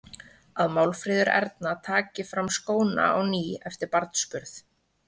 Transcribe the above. Að Málfríður Erna taki fram skóna á ný eftir barnsburð.